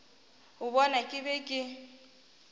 a bona ke be ke